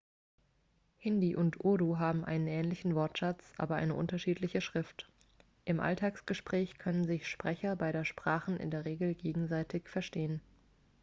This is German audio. hindi und urdu haben einen ähnlichen wortschatz aber eine unterschiedliche schrift im alltagsgespräch können sich sprecher beider sprachen in der regel gegenseitig verstehen